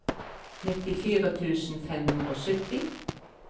nittifire tusen fem hundre og sytti